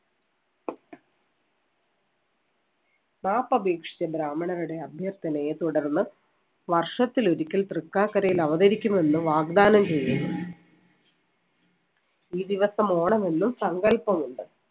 മാപ്പപേക്ഷിച്ച ബ്രാഹ്മണരുടെ അഭ്യർത്ഥനയെ തുടർന്ന് വർഷത്തിലൊരിക്കൽ തൃക്കാക്കരയിൽ അവതരിക്കുമെന്ന് വാഗ്ദാനം ചെയ്യുന്നു. ഈ ദിവസം ഓണമെന്നും സങ്കല്പമുണ്ട്.